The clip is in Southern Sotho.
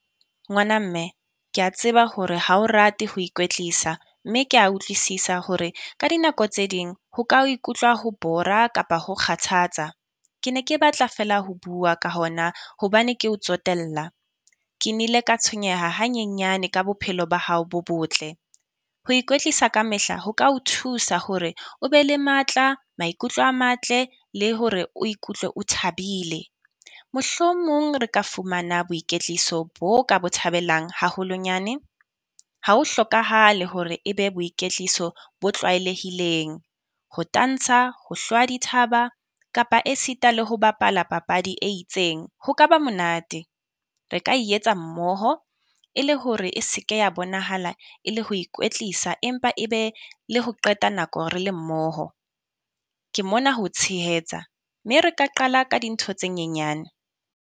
Ngwana mme kea tseba hore ha o rate ho ikwetlisa, mme kea utlwisisa hore ka dinako tse ding ho ka ikutlwa ho bore-ra kapa ho kgathatsa. Ke ne ke batla feela ho bua ka hona, hobane ke o tsotella. Ke nile ka tshwenyeha hanyenyane ka bophelo ba hao bo botle. Ho ikwetlisa ka mehla ho ka o thusa hore o be le matla maikutlo a matle le hore o ikutlwe o thabile. Mohlomong re ka fumana boiketliso bo ka bo thabelang haholonyane. Ha ho hlokahale hore e be boiketliso bo tlwaelehileng, ho tansa ho hlwa dithaba kapa e sita le ho bapala papadi e itseng. Ho ka ba monate. Re ka e etsa mmoho e le hore e se ke ya bonahala e le ho ikwetlisa, empa e be le ho qeta nako re le mmoho. Ke mona ho o tshehetsa, mme re ka qala ka dintho tse nyenyane.